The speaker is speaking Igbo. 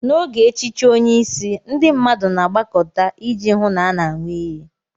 N'oge echichi onye isi, ndị mmadụ na-agbakọta iji hụ na a na-aṅụ iyi.